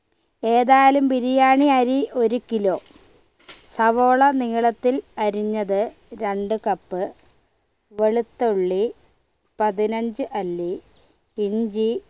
ഏതായാലും ബിരിയാണി അരി ഒരു kilo സവാള നീളത്തിൽ അരിഞ്ഞത് രണ്ട് cup വെളുത്തുള്ളി പതിനഞ്ച് അല്ലി ഇഞ്ചി